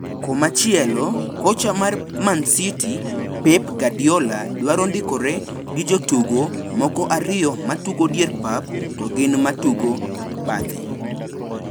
Komachielo kocha mar Man City Pep Guardiola duadro ndikore gi jotugo moko ariyo matugo dier pap to gi ma tugo bathe.